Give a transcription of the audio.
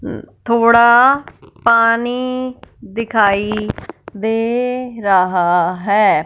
उं थोड़ा पानी दिखाई दे रहा है।